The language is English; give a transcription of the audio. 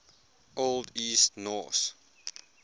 old east norse